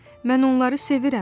Mən onları sevirəm.